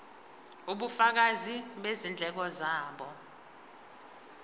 ubufakazi bezindleko zabo